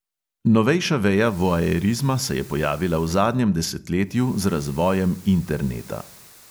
Novejša veja voajerizma se je pojavila v zadnjem desetletju z razvojem interneta.